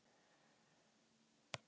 Jón Ólafur kom til sjálfs sín.